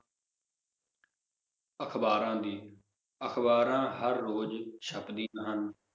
ਅਖਬਾਰਾਂ ਦੀ, ਅਖਬਾਰਾਂ ਹਰ ਰੋਜ਼ ਛਪਦੀਆਂ ਹਨ